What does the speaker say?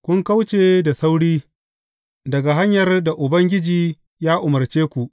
Kun kauce da sauri daga hanyar da Ubangiji ya umarce ku.